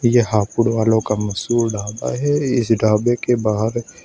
ये हापुड़ वालों का मशहूर ढाबा है इस ढाबे के बाहर--